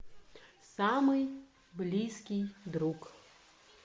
самый близкий друг